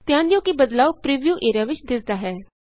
ਧਿਆਨ ਦਿਉ ਕਿ ਬਦਲਾਉ ਪ੍ਰੀਵਿਊ ਏਰੀਆ ਵਿਚ ਦਿੱਸਦਾ ਹੈ